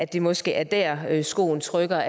det måske er der skoen trykker